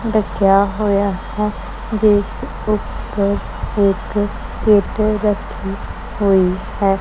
ਢਕਿਆ ਹੋਇਆ ਹੈ ਜਿੱਸ ਊਪਰ ਇੱਕ ਕਿੱਟ ਰੱਖੀ ਹੋਈ ਹੈ।